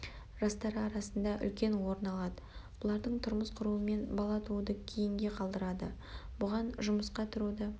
жастары арасында үлкен орын алады бұлардың тұрмыс құруымен бала тууды кейінге қалдырады бұған жұмысқа тұруды